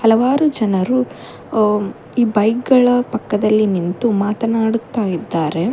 ಹಲವಾರು ಜನರು ಈ ಬೈಕ್ ಗಳ ಪಕ್ಕ ದಲ್ಲಿ ನಿಂತು ಮಾತನಾಡುತ್ತಾ ಇದ್ದಾರೆ.